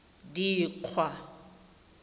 dikgwa